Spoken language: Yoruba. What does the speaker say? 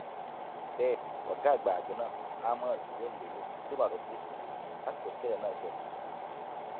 bẹẹ ọgá àgbà àjọ náà ahmed húṣáínì bẹlọ ṣì wà lọfíìsì lásìkò tísẹlẹ náà ṣẹlẹ